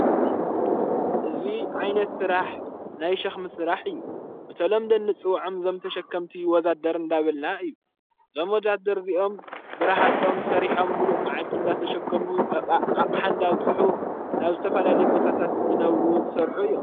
እዙይ ዓይነት ሥራሕ ናይ ሽኽም ሥራሕ እዩ በተሎምዶ ንጽውዕም ዘምተሸከምቲ ወዛደር እንዳበልና እዩ ዘም ወጃድርዚኦም ብራሃጾም ሠሪሖም ምሉእ መዓልቲ እንዳተሸከሙ ዓቕሓንዳኣውጽሑ ናብ ዝተፈላለ ቦታታት ዘነብሩ ዝሠርኁ እዮም::